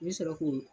I bɛ sɔrɔ k'o